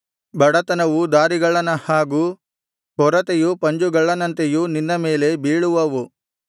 ಬಡತನವು ದಾರಿಗಳ್ಳನ ಹಾಗೂ ಕೊರತೆಯು ಪಂಜುಗಳ್ಳನಂತೆಯೂ ನಿನ್ನ ಮೇಲೆ ಬೀಳುವವು